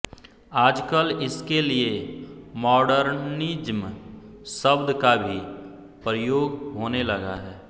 आजकल इसके लिए मॉडर्निज़्म शब्द का भी प्रयोग होने लगा है